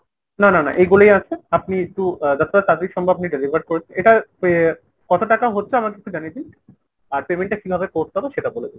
না না না এইগুলোই আছে। আপনি একটু যতটা তাড়াতাড়ি সম্ভব delivery করুন। এটা আহ কত টাকা হচ্ছে আমাকে একটু জানিয়ে দিন ? আর payment টা কিভাবে করতে হবে সেটা বলে দেবেন।